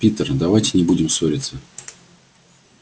питер давайте не будем ссориться